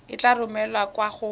e tla romelwa kwa go